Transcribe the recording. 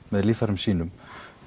með líffærum sínum